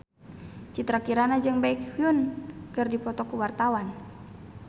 Citra Kirana jeung Baekhyun keur dipoto ku wartawan